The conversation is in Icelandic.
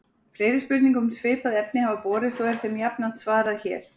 Fleiri spurningar um svipuð efni hafa borist og er þeim jafnframt svarað hér.